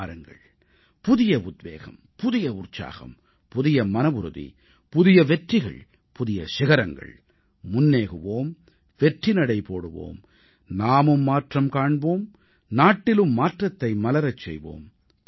வாருங்கள் புதிய உத்வேகம் புதிய உற்சாகம் புதிய மனவுறுதி புதிய வெற்றிகள் புதிய சிகரங்கள் முன்னேகுவோம் வெற்றிநடை போடுவோம் நாமும் மாற்றம் காண்போம் நாட்டிலும் மாற்றத்தை மலரச் செய்வோம்